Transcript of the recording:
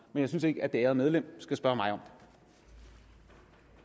men jeg synes ikke at det ærede medlem skal spørge mig om det